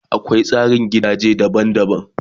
Akwai tsarin gidaje daban daban